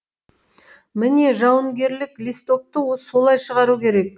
міне жауынгерлік листокті осылай шығару керек